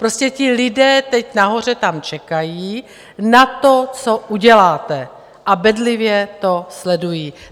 Prostě ti lidé teď tam nahoře čekají na to, co uděláte, a bedlivě to sledují.